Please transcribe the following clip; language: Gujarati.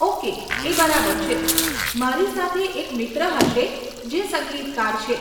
ઓકે, એ બરાબર છે, મારી સાથે એક મિત્ર હશે જે સંગીતકાર છે.